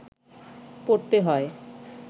পড়তে হয়